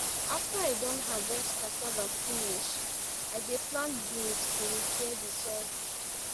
after i don harvest cassava finish i dey plant beans to repair the soil